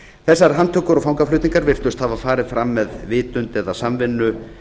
þessar handtökur og fangaflutningar virtust hafa farið fram með vitund eða samvinnu